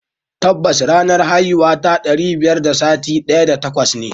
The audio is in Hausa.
Kwarai ranar haihuwata ɗari biyar da sittin da takwas ne.